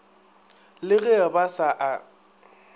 le ge ba sa a